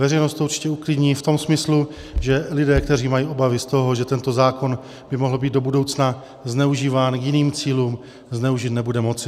Veřejnost to určitě uklidní v tom smyslu, že lidé, kteří mají obavy z toho, že tento zákon by mohl být do budoucna zneužíván k jiným cílům, zneužit nebude moci.